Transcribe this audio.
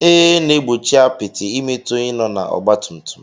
Ee, n'egbochi apịtị imetu ónyé nọ na ọgba tum tum.